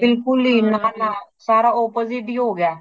ਬਿਲਕੁਲ ਹੀ ਨਾ ਨਾ ਸਾਰਾ opposite ਹੀ ਹੋ ਗਯਾ ਹੇ।